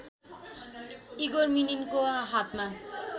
Igor मिनिनको हातमा